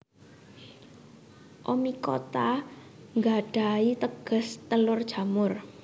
Oomycota nggadhahi teges telur jamur